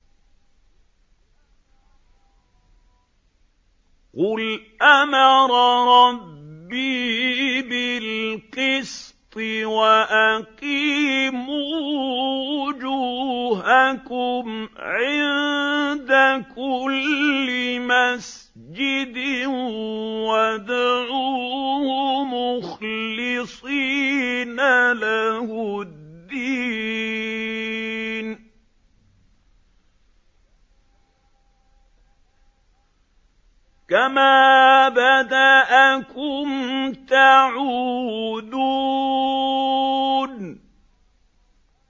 قُلْ أَمَرَ رَبِّي بِالْقِسْطِ ۖ وَأَقِيمُوا وُجُوهَكُمْ عِندَ كُلِّ مَسْجِدٍ وَادْعُوهُ مُخْلِصِينَ لَهُ الدِّينَ ۚ كَمَا بَدَأَكُمْ تَعُودُونَ